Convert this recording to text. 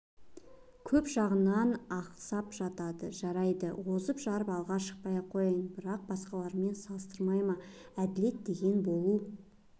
көп жағынан ақсап жатады жарайды озып-жарып алға шықпай-ақ қояйын бірақ басқалармен салыстырмай ма әділет деген болу